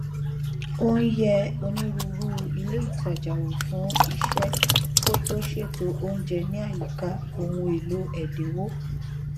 ó n yẹ onírúurú ilé ìtajà wò fún iṣẹ kó tó ṣètò oúnjẹ ní àyíká ohun èlò ẹdínwó